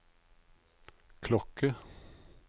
klokke